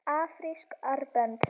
Afrísk armbönd?